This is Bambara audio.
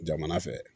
Jamana fɛ